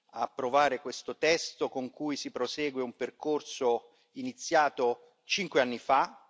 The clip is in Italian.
ad approvare questo testo con cui si prosegue un percorso iniziato cinque anni fa.